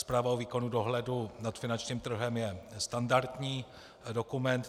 Zpráva o výkonu dohledu nad finančním trhem je standardní dokument.